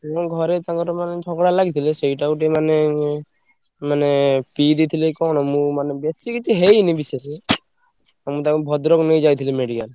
କଣ ଘର ତାଙ୍କର ମାନେ ଝଗଡା ଲାଗିଥିଲେ ସେଇଟା ଗୋଟେ ମାନେ ମାନେ ପିଇଦେଇଥିଲେ କି କଣ ମୁଁ ମାନେ ବେଶୀ କିଛି ହେଇନି ବିଶେଷ ହଁ ମୁଁ ତାଙ୍କୁ ଭଦ୍ରକ ନେଇଯାଇଥିଲି medical ।